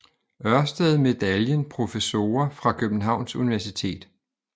Ørsted Medaljen Professorer fra Københavns Universitet